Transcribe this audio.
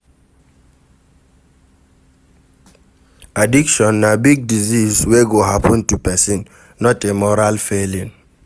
Addiction na big disease we go happen to pesin, not a moral failing.